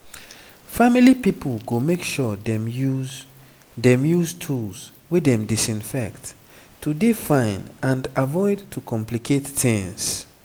family pipo go make sure dem use dem use tools wey dem disinfect to dey fine and avoid to complicate tings